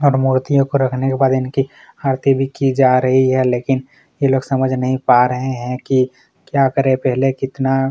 इन मूर्तियों को रखने के बाद इनकी आरती भी की जा रही है लेकिन इन लोग समझ नहीं पा रहै हैं कि पहले कितना --